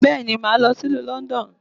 Bẹ́ẹ̀ni, màá lọ sí ìlú London